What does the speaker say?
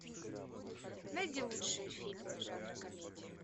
найди лучшие фильмы жанра комедия